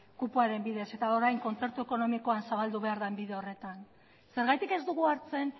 kupoaren bidez eta orain kontzertu ekonomikoan zabaldu behar den bide horretan zergatik ez dugu hartzen